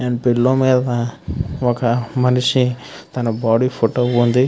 ఒక పిల్లర్ మేధా ఒక మనిషి బాడి ఫోటో వుంది.